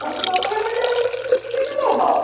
Não, na verdade, eu era uma menina normal.